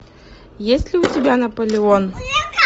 есть ли у тебя наполеон